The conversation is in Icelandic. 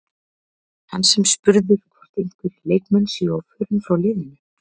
Hann var spurður hvort einhverjir leikmenn séu á förum frá leiðinu?